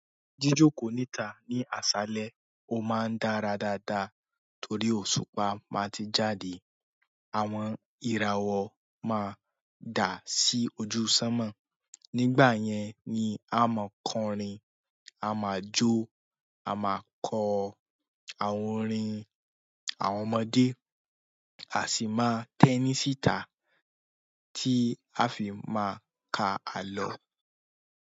Jíjókòó níta ní àṣálẹ́, ó máa ń dára dáadáa torí òṣùpá má ti jáde, àwọn ìràwọ̀ máa dà sí ojú sánmọ̀. Nígbà yẹn ni a máa ń kọrin, a máa jó, a máa kọ àwọn orin àwọn ọmọdé, a sì máa tẹ́ní síta tí a fi máa ka àlọ́.